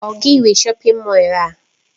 Ọ gị nwe shọpin Mọll a?